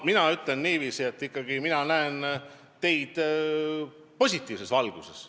Mina ütlen niiviisi, et mina näen teid ikkagi positiivses valguses.